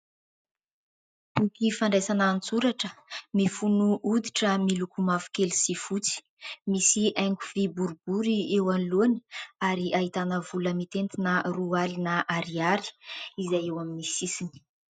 Boky fandraisana an-tsoratra, mifono hoditra miloko mavokely sy fotsy, misy haingo vy boribory eo anoloany ary ahitana vola mitentina roa alina ariary izay eo amin'ny sisiny.